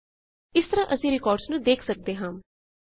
ਇਸ ਤਰਹ ਅਸੀਂ ਰਿਕਾਰਡਸ ਨੂੰ ਵੇਖ ਸਕਦੇ ਹਾਂ